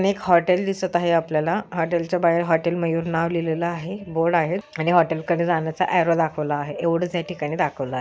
एक होटल दिसत आहे आपल्याला हॉटेल च्या बाहेर हॉटेल मयूर नाव लिहिलेला आहे बोर्ड आहे आणि हॉटेल कडे जाण्याचं ऑरो दाखवला आहे एवढच या ठिकाणी दाखवला --